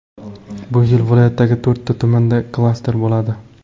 Bu yil viloyatdagi to‘rtta tumanda klaster bo‘ladi.